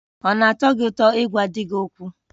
Ọ na-atọ gị ụtọ ịgwa di gị okwu?